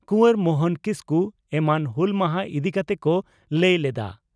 ᱠᱩᱣᱟᱨ ᱢᱚᱦᱚᱱ ᱠᱤᱥᱠᱩ ᱮᱢᱟᱱ ᱦᱩᱞ ᱢᱟᱦᱟ ᱤᱫᱤ ᱠᱟᱛᱮ ᱠᱚ ᱞᱟᱹᱭ ᱞᱮᱫᱼᱟ ᱾